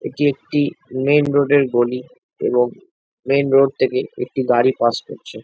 এটি একটি main road এর গলি এবং মেইন রোড থেকে একটা গাড়ি পাস করছে।